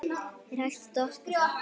Er hægt að toppa það?